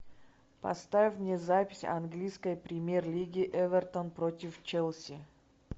поставь мне запись английской премьер лиги эвертон против челси